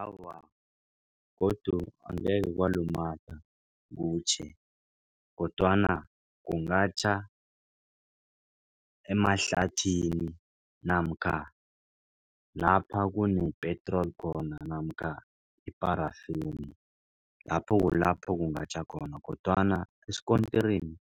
Awa, godu angeke kwalumatha kutjhe kodwana kungatjha emahlathini namkha lapha kunepetroli khona namkha iparafeni. Lapho kulapho kungatjha khona kodwana esikontirini